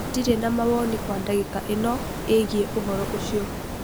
Ndirĩ na mawoni kwa dagĩka ĩno ĩgiĩ ũhoro ũcio.